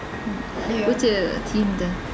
м иә өте тиімді